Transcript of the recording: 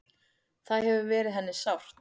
Það hefur verið henni sárt.